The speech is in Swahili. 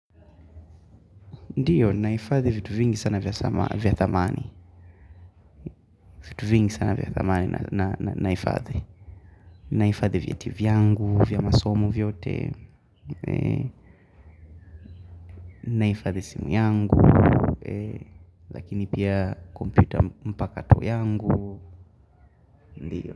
Ndiyo naifadhi vitu vingi sana vya thamani. Vitu vingi sana vya thamani na naifadhi nahifadhi viti vyangu, vya masomo vyote. Nahifadhi simu yangu. Lakini pia kompyuta mpakato yangu. Ndiyo.